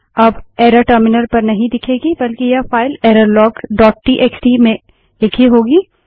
अब error terminal पर नहीं दिखेगी बल्कि यह फाइल एररलोग डोट टीएक्सटीफाइल errorlogटीएक्सटी में लिखी होगी